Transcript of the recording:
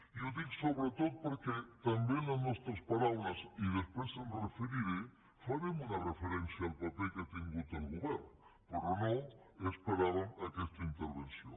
i ho dic sobretot perquè també en les nostres paraules i després m’hi referiré farem una referència al paper que ha tingut el govern però no esperàvem aquesta intervenció